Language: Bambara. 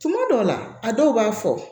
Tuma dɔw la a dɔw b'a fɔ